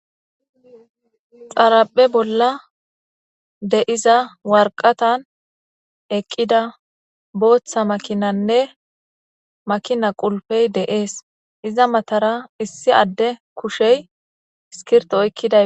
xaraphe bolla de iza warqatan eqqida booththa makinanne makina qulpey deees iza matara issi adde kushey iskirto oykkida